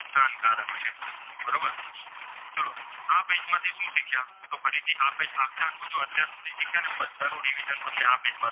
તો આખેઆખું જો અર્ધો થી શીખ્યા ને બધાનું Revision તમને આ